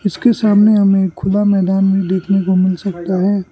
उसके सामने हमें खुला मैदान भी देखने को मिल सकता है।